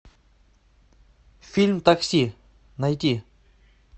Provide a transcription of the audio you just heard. фильм такси найти